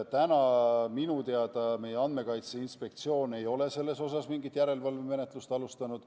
Täna minu teada meie Andmekaitse Inspektsioon ei ole selles osas mingit järelevalvemenetlust alustanud.